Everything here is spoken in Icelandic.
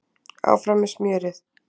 Áfram með smjörið!